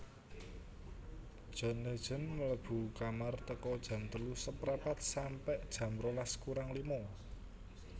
John Legend mlebu kamar teko jam telu seprapat sampe jam rolas kurang lima